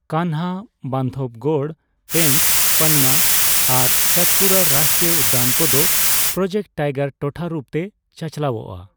ᱠᱟᱱᱦᱟ, ᱵᱟᱱᱫᱷᱚᱵᱽᱜᱚᱲ, ᱯᱮᱧᱪ, ᱯᱟᱱᱱᱟ ᱟᱨ ᱥᱟᱛᱯᱩᱨᱟ ᱨᱟᱥᱴᱨᱤᱭᱚ ᱩᱫᱽᱫᱟᱱ ᱠᱚᱫᱚ ᱯᱨᱚᱡᱮᱠᱴ ᱴᱟᱭᱜᱟᱨ ᱴᱚᱴᱷᱟ ᱨᱩᱯ ᱛᱮ ᱪᱟᱪᱟᱞᱟᱣᱚᱜᱼᱟ ᱾